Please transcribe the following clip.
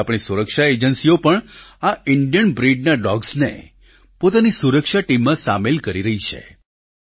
હવે આપણી સુરક્ષા એજન્સીઓ પણ આ ઈન્ડિયન બ્રિડના ડોગ્સને પોતાની સુરક્ષા ટીમમાં સામેલ કરી રહી છે